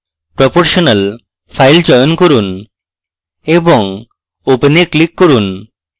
proportional file চয়ন করুন এবং open এ click করুন